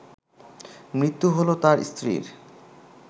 মৃত্যু হলো তার স্ত্রীর